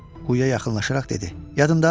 Quyuya yaxınlaşaraq dedi: Yadında?